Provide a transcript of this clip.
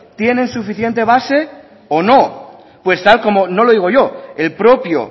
tienen suficiente base o no pues tal como no lo digo yo el propio